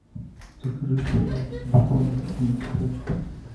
закажи сухарики с беконом и спрайт